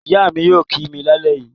Ìyá mi yóò kì mí lálẹ́ yìí.